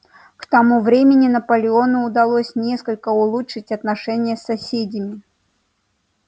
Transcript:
к тому времени наполеону удалось несколько улучшить отношения с соседями